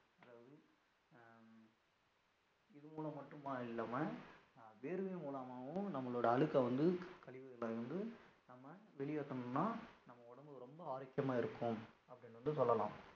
இதுமுலம் மட்டுமா இல்லாம வியர்வை மூலமாவும் நம்மலோட அழுக்கு வந்து கழிவுகளை வந்து நம்ம வெளியேத்தணும்னா நம்ம உடம்புக்கு ரொம்ப ஆரோக்கியமாக இருக்கும் அப்படினு சொல்லலாம்.